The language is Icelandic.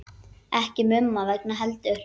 Ekki Mumma vegna heldur.